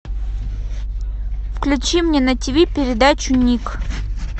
включи мне на тиви передачу ник